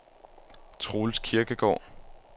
Troels Kirkegaard